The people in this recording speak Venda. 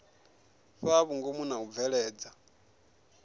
fhaa vhungomu na u bveledza